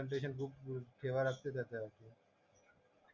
तेव्हा लक्षात येत